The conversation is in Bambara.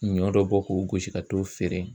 Ɲɔ dɔ bɔ k'o gosi ka t'o feere